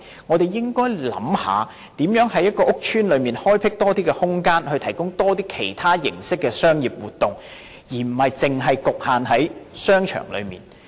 我們應該想一想如何在一個屋邨內開闢多一些空間，提供其他形式的商業活動，而不是局限於商場內。